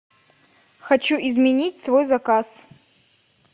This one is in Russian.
хочу изменить свой заказ